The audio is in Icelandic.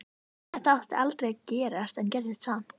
Þetta átti aldrei að gerast en gerðist samt.